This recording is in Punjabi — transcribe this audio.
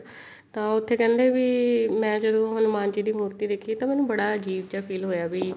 ਤਾਂ ਉੱਥੇ ਕਹਿੰਦੇ ਵੀ ਮੈਂ ਜਦੋਂ ਹਨੁਮਾਨ ਜੀ ਦੀ ਮੂਰਤੀ ਦੇਖੀ ਤਾਂ ਮੈਨੂੰ ਬੜਾ ਅਜੀਬ ਜਾ feel ਹੋਇਆ ਵੀ